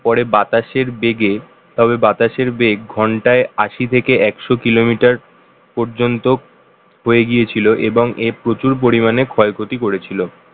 পরে বাতাসের বেগে তবে বাতাসের বেগ ঘন্টায় আশি থেকে একশো kilometer পর্যন্ত হয়ে গিয়েছিল এবং এর প্রচুর পরিমাণে ক্ষয় ক্ষতি করেছিল